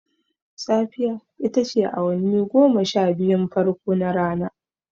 Safiya ita ce awanni goma sha biyun farko na rana.